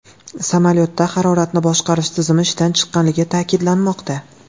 Samolyotda haroratni boshqarish tizimi ishdan chiqqanligi ta’kidlanmoqda.